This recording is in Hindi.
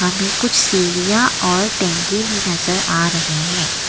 पे कुछ सीढ़ियां और टंकी भी नजर आ रहे हैं।